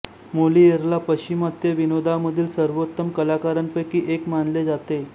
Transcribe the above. मोलियेरला पश्चिमात्य विनोदामधील सर्वोत्तम कलाकारांपैकी एक मानले जाते